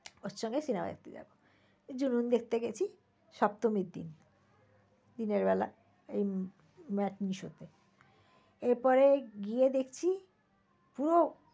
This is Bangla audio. ওর সঙ্গে cinema দেখতে যাব। জুনুন দেখতে গেছি সপ্তমীর দিন। দিনের বেলা matinee-show তে। এরপরে গিয়ে দেখছি পুরো